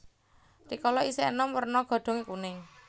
Rikala isih enom werna godhonge kuning